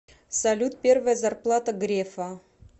салют первая зарплата грефа